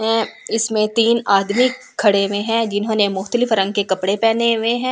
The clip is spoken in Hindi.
में इसमें तीन आदमी खड़े हुए हैं जिन्होंने मुख्तलिफ रंग के कपड़े पहने हुए हैं।